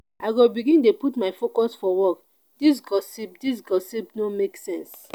i go begin dey put my focus for work dis gossip dis gossip no make sense.